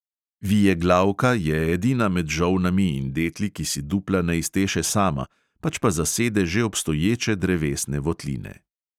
Vijeglavka je edina med žolnami in detli, ki si dupla ne izteše sama, pač pa zasede že obstoječe drevesne votline.